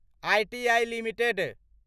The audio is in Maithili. ITI limited